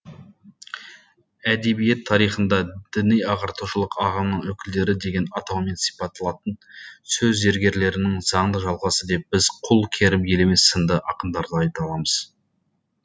әдебиет тарихында діни ағартушылық ағымның өкілдері деген атаумен сипатталатын сөз зергерлерінің заңды жалғасы деп біз құл керім елемес сынды ақындарды айта аламыз